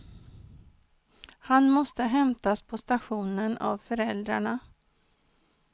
Han måste hämtas på stationen av föräldrarna.